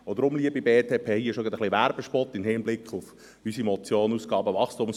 Deshalb, liebe BDP, an dieser Stelle ein Werbespot im Hinblick auf unsere Motion «[…